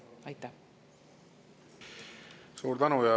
Suur tänu!